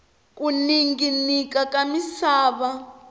ku ninginika ka misava